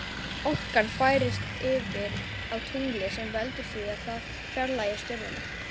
Orkan færist yfir á tunglið sem veldur því að það fjarlægist jörðina.